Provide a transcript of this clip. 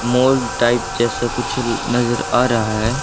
Mall type जैसा कुछ नजर आ रहा है।